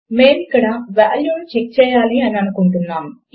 మేము ఇక్కడ వాల్యూ ను చెక్ చేయాలి అని అనుకుంటున్నాము